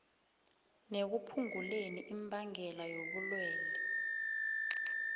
nekuphunguleni imbangela yobulwelwe